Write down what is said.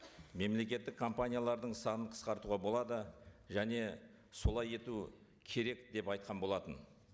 мемлекеттік компаниялардың санын қысқартуға болады және солай ету керек деп айтқан болатын